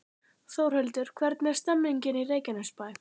Þórhildur, hvernig er stemningin í Reykjanesbæ?